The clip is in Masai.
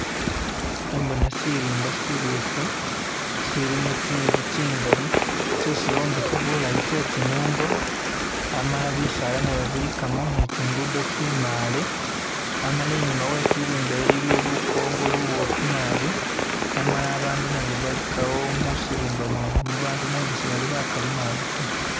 Khembona sirimba sibofu silimo tsintsu tsingali tsesi bombekha bulayi tse tsinungo amala bisala nabyo bilikamo ni tsi nguddo tsimale amala inyuma we'sirimba iliyo lukongo lubofu naabi amala bandu nabo balikawo musirimba mwenomwo bandu nenga sibalibakali taa